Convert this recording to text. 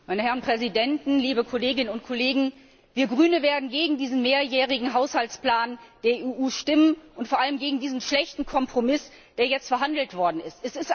Herr Präsident, Herr Ratspräsident, liebe Kolleginnen und Kollegen! Wir Grüne werden gegen diesen mehrjährigen Haushaltsplan der EU stimmen, und vor allem gegen diesen schlechten Kompromiss, der jetzt ausgehandelt worden ist.